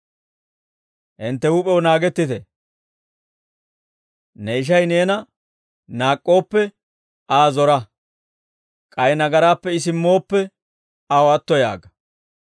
Hintte huup'ew naagettite. «Ne ishay neena naak'k'ooppe, Aa zora. K'ay nagaraappe I simmooppe, aw atto yaaga.